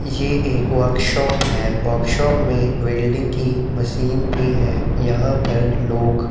ये एक वर्क्शाप है वर्क्शाप मे वैल्डिंग कि मशीन भी है यहां पर लोग--